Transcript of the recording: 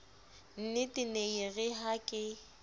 nnetee nee yeere ha ke